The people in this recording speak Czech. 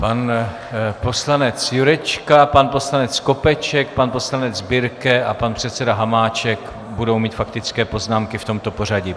Pan poslanec Jurečka, pan poslanec Skopeček, pan poslanec Birke a pan předseda Hamáček budou mít faktické poznámky v tomto pořadí.